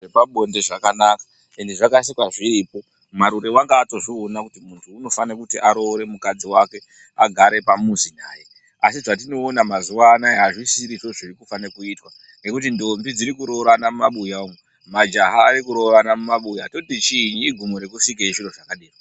Zvepabonde zvakanaka endi zvakasikwa zviriyo. Marure wanga atozviona kuti muntu unofane kuti aroore mukadzi wake agare pamuzi naye, asi zvetinoona mazuva anaya azvisisirizvo zvirukufane kuitwa ngekuti ndombi dzirikuroorana mumabuya umo, majaha arikuroorana mumabuya , toti chiinyi, igumo rekusikei.